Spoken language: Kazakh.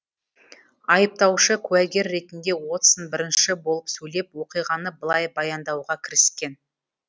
айыптаушы куәгер ретінде уотсон бірінші болып сөйлеп оқиғаны былай баяндауға кіріскен